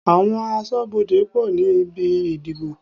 Àwọn aṣọ́bodè pọ̀ ní ibi ìdìbò.